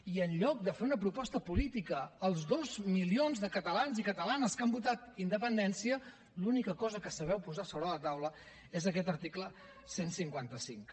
i en lloc de fer una proposta política als dos milions de catalans i catalanes que han votat independència l’única cosa que sabeu posar sobre la taula és aquest article cent i cinquanta cinc